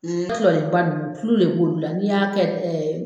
Nin manɔgɔba ninnu tulu de bɛ k'olu la n'i y'a kɛ